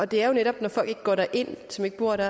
det er jo netop når folk som ikke bor der